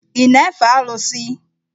Ị na-efe Alụsị?